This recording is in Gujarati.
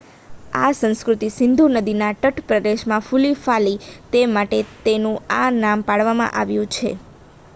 આ સંસ્કૃતિ સિંધુ નદીના તટપ્રદેશમાં ફુલીફાલી તે માટે તેનું આ નામ પાડવામાં આવ્યું છે